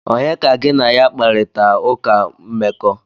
Onye ka gi na ya kparita uka mmeko?